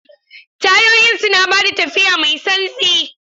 Tayoyin suna ba da tafiya mai santsi.